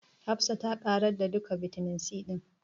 Hafsa ta ƙarar da duka bitamin C ɗin.